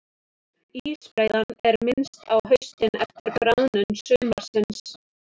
Ísbreiðan er minnst á haustin eftir bráðnun sumarsins.